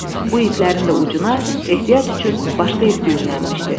Bu iplərin də ucuna ehtiyat üçün başqa ip düyünlənmişdi.